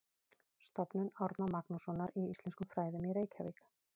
Stofnun Árna Magnússonar í íslenskum fræðum í Reykjavík.